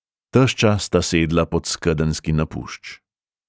Tešča sta sedla pod skedenjski napušč.